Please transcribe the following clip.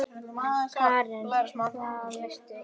Karen: Hvað veistu?